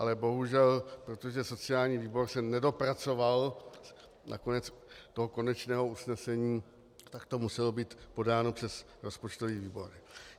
Ale bohužel, protože sociální výbor se nedopracoval na konec toho konečného usnesení, tak to muselo být podáno přes rozpočtový výbor.